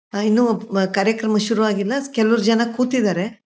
ಆ ಇನ್ನು ಒಬ್ ಕಾರ್ಯಕ್ರಮ ಶುರುವಾಗಿಲ್ಲ ಕೆಲವು ಜನ ಕೂತಿದ್ದಾರೆ.